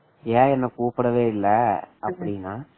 ஏன் என்ன கூப்பிடவே இல்ல அப்படின்னா